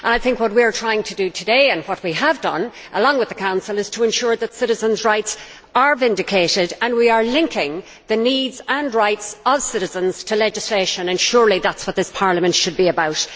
I think what we are trying to do today and what we, along with the Council, have done is to ensure that citizens' rights are vindicated and we are linking the needs and rights of citizens to legislation, and surely this is what this Parliament should be about.